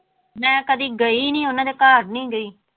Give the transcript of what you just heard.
ਮੈਂ ਕਦੇ ਗਈ ਨੀ ਉਹਨਾਂ ਦੇ ਘਰ ਨੀ ਗਈ।